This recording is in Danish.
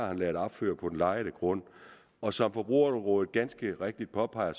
har ladet opført på den lejede grund og som forbrugerrådet ganske rigtigt påpeger